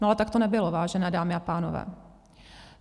No ale tak to nebylo, vážené dámy a pánové.